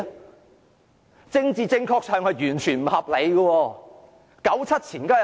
在政治正確上，這是完全不合理的。